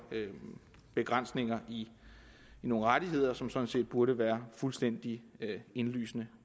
begrænsninger i nogle rettigheder som sådan set burde være fuldstændig indlysende